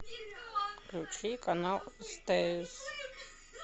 включи канал стс